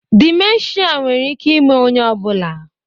Dimentia nwere ike ime onye ọ bụla